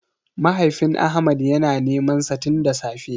Mahaifin Ahmad yana ta nemansa tin da safe.